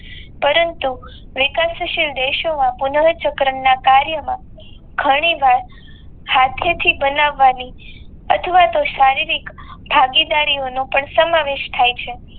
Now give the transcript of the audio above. પરંતુ વિકતસીલ દેશોમાં પુનઃ ચક્રના કાર્યમાં ઘણી વાત હાથે થી બનાવની અથવા તો શારીરિક ભાગીદારીને સમાવેશ થઈ છે.